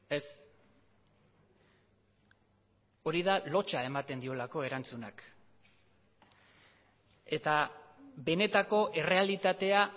ez hori da lotsa ematen diolako erantzunak eta benetako errealitatea